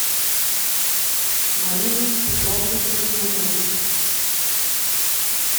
марины петровны угрюмовой